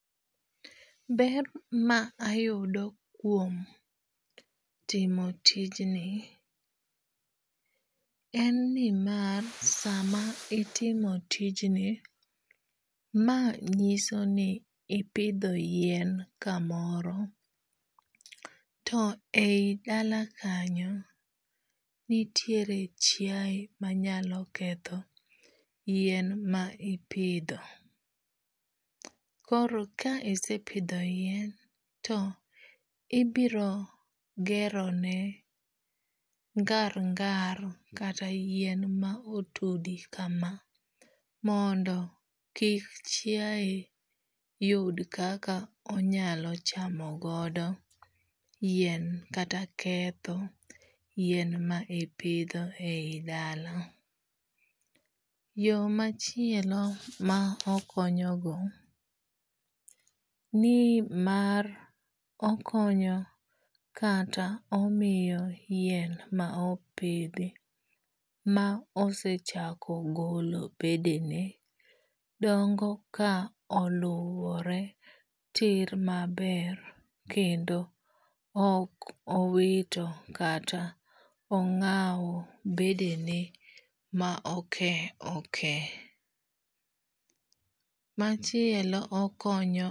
Ber ma ayudo kuom timo tijni en ni mar sama itimo tijni ma nyiso ni ipidho yien kamoro. To eyi dala kanyo nitiere chiaye manyalo ketho yien ma ipidho. Koro ka isepidho yien to ibiro gero ne ngar ngar kata yien ma otudi kama mondo kik chiaye yud kaka onyalo chamo godo yien kata ketho yien ma ipidho e yi dala. Yo machielo ma okonyo go nimar okonyo kata omiyo yien ma opidhi ma osechako golo bedene dongo ka oluwore tir maber kendo ok owito kata ong'aw bedene ma oke oke. Machielo okonyo.